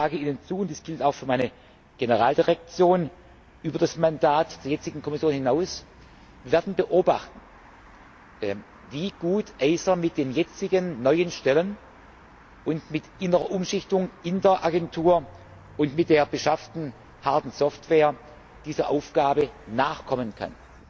Ich sage Ihnen zu und das gilt auch für meine Generaldirektion über das Mandat der jetzigen Kommission hinaus Wir werden beobachten, wie gut EISA mit den jetzigen neuen Stellen und mit innerer Umschichtung in der Agentur und mit der beschafften Hard und Software dieser Aufgabe nachkommen kann